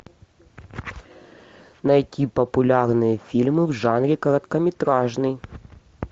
найти популярные фильмы в жанре короткометражный